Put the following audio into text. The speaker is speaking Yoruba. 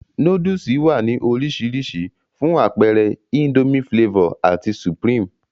Nóódùsì wá ní orisirisi, fún apeere Indomie Flavor ati supreme